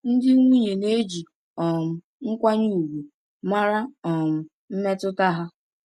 Ndị nwunye na-eji um nkwanye ùgwù mara um mmetụta ha.